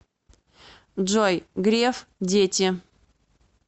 джой греф дети